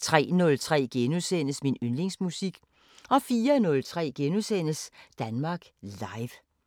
03:03: Min yndlingsmusik * 04:03: Danmark Live *